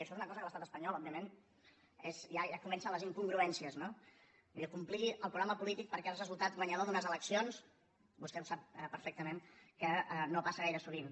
això és una cosa que a l’estat espanyol òbviament ja comencen les incongruències no allò complir el programa polític perquè has resultat guanyador d’unes eleccions vostè sap perfectament que no passa gaire sovint